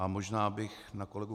A možná bych na kolegu